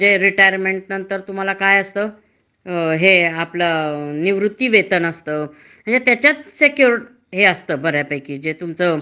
खासगी याच्यामध्ये सुद्धा असत, हं. म्हणजे प्रोवीडेंड फंड म्हणा, ग्रेड्यूटी म्हणा, हं. पण ते कस असत, ते आयुष्यभर त्या रकमा पुरात नाहीत